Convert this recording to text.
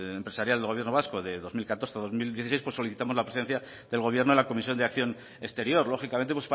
empresarial del gobierno vasco de dos mil catorce dos mil dieciséis pues solicitamos la presencia del gobierno en la comisión de acción exterior lógicamente